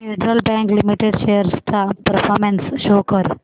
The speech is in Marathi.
फेडरल बँक लिमिटेड शेअर्स चा परफॉर्मन्स शो कर